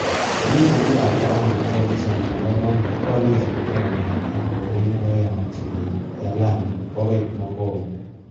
Ofisisiekab kabana ak komisiona nebo koundi ko kokisibto kong'eten koret nekiyomchi beek en Lamu, bokoi Mokowe.